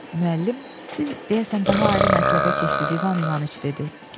Müəllim, siz deyəsən daha ayrı mətləbə keçdiniz İvan İvanıç, dedi.